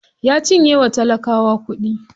Ya cinye wa talakawa kuɗi.